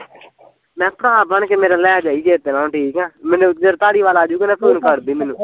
ਮੈਂ ਕਿਹਾ ਭਰਾ ਬਣ ਕੇ ਮੇਰਾ ਲੈ ਜਾਈ ਚੇਤੇ ਨਾਲ਼ ਹੁਣ ਠੀਕ ਆ, ਮੈਨੂੰ ਜਦ ਧਾਲੀਵਾਲ ਆਜੁਗਾ ਤਾਂ ਫੂਨ ਕਰਦੀ ਮੈਨੂੰ